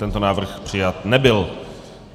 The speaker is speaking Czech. Tento návrh přijat nebyl.